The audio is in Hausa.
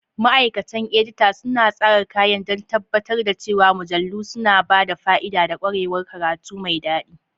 Ma'aikatan edita suna tsara kayan don tabbatar da cewa mujallu suna ba da fa'ida da ƙwarewar karatu mai daɗi.